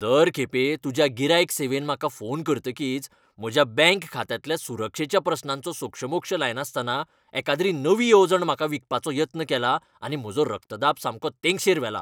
दर खेपे तुज्या गिरायक सेवेन म्हाका फोन करतकीच, म्हज्या बँक खात्यांतल्या सुरक्षेच्या प्रस्नांचो सोक्षमोक्ष लायनासतना एकाद्री नवी येवजण म्हाका विकपाचो यत्न केला आनी म्हजो रक्तदाब सामको तेंगशेर व्हेला.